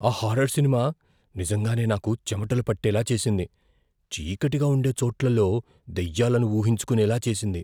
ఆ horror cinema నిజంగానే నాకు చెమటలు పట్టేలా చేసింది, చీకటిగా ఉండే చోట్లలో దయ్యాలను ఊహించుకునేలా చేసింది.